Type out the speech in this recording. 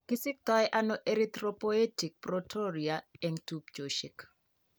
Kisiktoono erythropoietic protoporhyria eng' tubchosiek